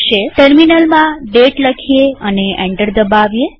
ટર્મિનલમાં દાતે લખીએ અને એન્ટર દબાવીએ